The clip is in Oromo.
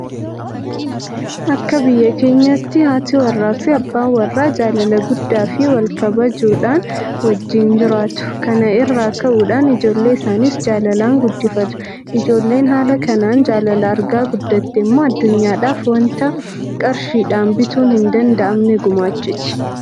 Akka biyya keenyaatti haati warraafi abbaan warraa jaalala guddaafi walkabajuu dhaan wajjin jiraatu. Kana irraa ka'uudhaan ijoollee isaaniis jaalalaan guddifatu. Ijoolleen haala kanaan jaalala argaa guddatte immoo addunyaadhaaf waanta qarshiidhaan bituun hin danda'mne gumaachaati.